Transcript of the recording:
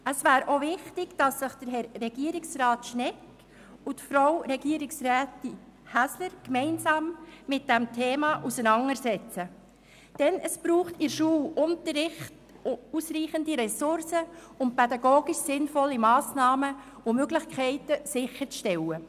Es wäre auch wichtig, dass sich Herr Regierungsrat Schnegg und Frau Regierungsrätin Häsler gemeinsam mit diesem Thema auseinandersetzen, denn es braucht in der Schule ausreichende Ressourcen, um pädagogisch sinnvolle Massnahmen und Möglichkeiten sicherzustellen.